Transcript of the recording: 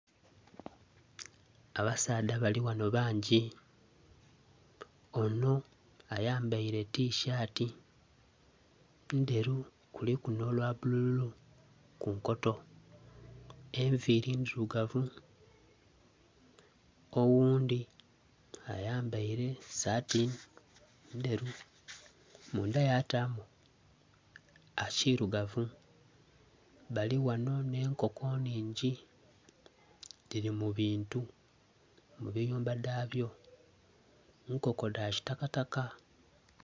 Abasaadha bali ghanho bangi. Ono ayambaile tishati ndheru kuliku n'olwa bululu ku nkoto. Enviri ndhilugavu. Oghundi ayambaile esati ndheru mundha yatamu ekilugavu. Bali ghano n'enkoko nhingi dhili mu bintu, mu biyumba dhabyo. Nkoko dha kitakataka.